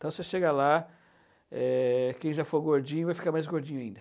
Então você chega lá, eh, quem já for gordinho vai ficar mais gordinho ainda.